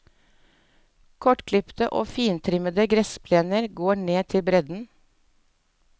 Kortklipte og fintrimmede gressplener går ned til bredden.